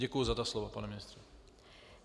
Děkuju za ta slova, pane ministře.